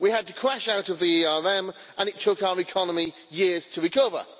We had to crash out of the ERM and it took our economy years to recover.